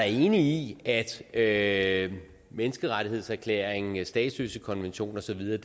enig i at menneskerettighedserklæringen statsløsekonventionen og så videre